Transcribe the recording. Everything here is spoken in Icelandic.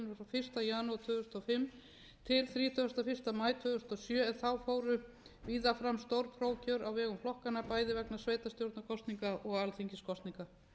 fyrsta janúar tvö þúsund og fimm til þrítugasta og fyrsta maí tvö þúsund og sjö en þá fóru víða fram stór prófkjör á vegum flokkanna bæði vegna sveitarstjórnarkosninga og alþingiskosninga